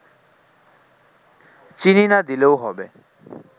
চিনি না দিলেও হবে